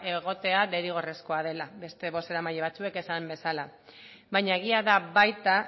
egotea derrigorrezkoa dela beste bozeramaile batzuek esan bezala baina egia da baita